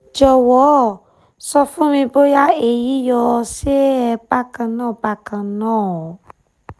jowo sọ fún mi bóyá èyí yóò sè é bákan náà bákan náà